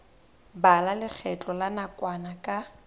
bala lekgetho la nakwana ka